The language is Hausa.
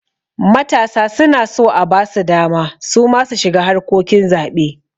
Matasa suna so abasu dama suma su shiga harkokin zaɓe